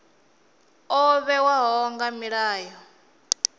o vhewaho nga milayo ya